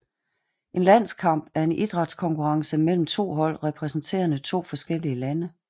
En landskamp er en idrætskonkurrence mellem hold repræsenterende to forskellige lande